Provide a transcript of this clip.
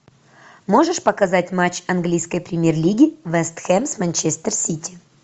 можешь показать матч английской премьер лиги вест хэм с манчестер сити